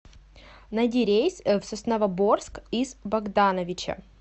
найди рейс в сосновоборск из богдановича